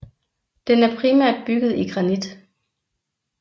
Den er primært bygget i granit